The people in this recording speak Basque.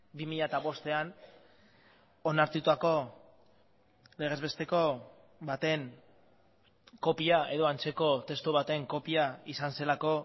bi mila bostean onartutako legez besteko baten kopia edo antzeko testu baten kopia izan zelako